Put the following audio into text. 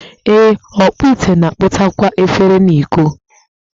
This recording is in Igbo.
Ee, ọkpụ ite na-akpụtakwa efere na iko